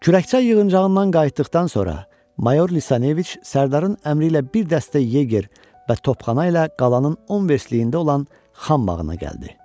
Kürəkçay yığıncağından qayıtdıqdan sonra mayor Lisaneviç sərdarın əmri ilə bir dəstə yeger və topxana ilə qalanın on versliyində olan Xan bağına gəldi.